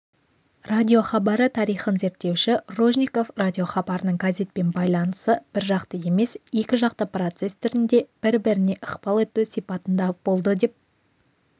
радиохабары тарихын зерттеуші ружников радиохабарының газетпен байланысы біржақты емес екіжақты процесс түрінде бір-біріне ықпал ету сипатында болды деп